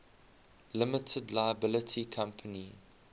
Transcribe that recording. limited liability company